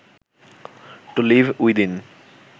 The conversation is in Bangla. two live within